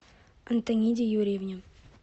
антониде юрьевне